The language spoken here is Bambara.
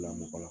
Lamɔgɔ la